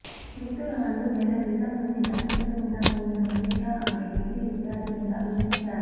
మృతురాలు నెల క్రితం నుంచి కనిపించకుండా పోయిన మనీషా అనే డిగ్రీ విద్యార్థినిగా గుర్తించారు